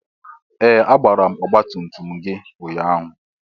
Ee! A gbara ọgbatumtum gị ụnyaahụ.